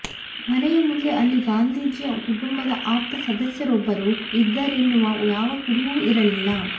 ಮನೆಯ ಮುಂದೆ ಅಲ್ಲಿ ಗಾಂಧೀಜಿಯ ಕುಟುಂಬದ ಆಪ್ತ ಸದಸ್ಯರೊಬ್ಬರು ಇದ್ದಾರೆನ್ನುವ ಯಾವ ಕುರುಹೂ ಇರಲಿಲ್ಲ